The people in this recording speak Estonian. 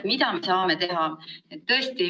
Mida me saame teha?